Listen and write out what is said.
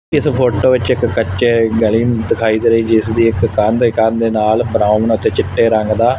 ਇਸ ਫੋਟੋ ਵਿੱਚ ਇੱਕ ਕੱਚੇ ਗਲੀ ਦਿਖਾਈ ਦੇ ਰਹੀ ਜਿਸ ਦੀ ਇੱਕ ਕੰਧ ਕੰਧ ਦੇ ਨਾਲ ਬਰਾਉਨ ਤੇ ਚਿੱਟੇ ਰੰਗ ਦਾ--